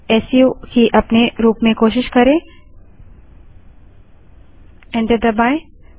सू की अपने रूप में कोशिश करें एंटर दबायें